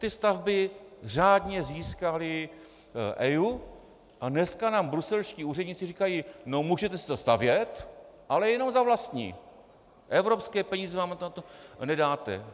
Ty stavby řádně získaly EIA a dneska nám bruselští úředníci říkají: No, můžete si to stavět, ale jenom za vlastní, evropské peníze nám na to nedáme.